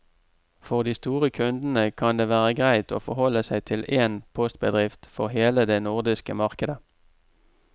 For de store kundene kan det være greit å forholde seg til én postbedrift for hele det nordiske markedet.